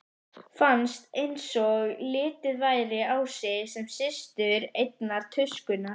Fannst einsog litið væri á sig sem systur einnar tuskunnar.